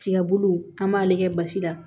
Tiga bulu an b'ale kɛ basi la